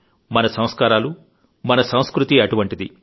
మన సంస్కారాలు మన సంస్కృతి అటువంటివి